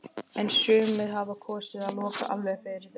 En sumir hafa kosið að loka alveg fyrir þetta.